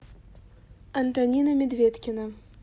антонина медведкина